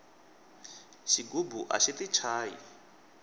xigubu axi ti chayi